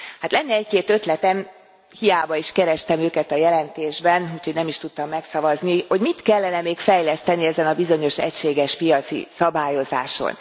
Hát lenne egy két ötletem, hiába is kerestem őket a jelentésben, úgyhogy nem is tudtam megszavazni, hogy mit kellene még fejleszteni ezen a bizonyos egységes piaci szabályozáson.